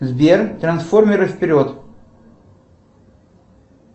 сбер трансформеры вперед